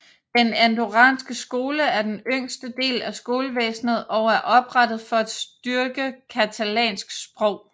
Den andorranske skole er den yngste del af skolevæsnet og er oprettet for at styrke catalansk sprog